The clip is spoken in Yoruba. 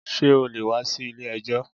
Ṣé o lè wá sí ilé ẹjọ́?